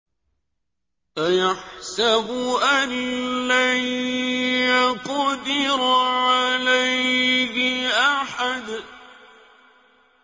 أَيَحْسَبُ أَن لَّن يَقْدِرَ عَلَيْهِ أَحَدٌ